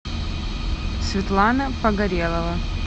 светлана погорелова